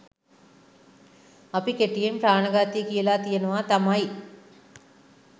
අපි කෙටියෙන් ප්‍රාණඝාතය කියලා කියනවා තමයි.